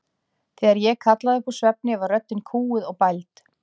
Þegar ég kallaði upp úr svefni var röddin kúguð og bæld.